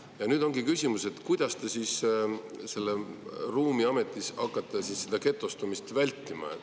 Ja nüüd ongi küsimus, et kuidas siis seal ruumiametis hakatakse seda getostumist vältima.